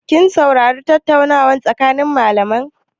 Kin saurari tattaunawar tsakanin malamai?